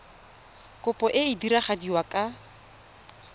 kopo e e diragadiwa ka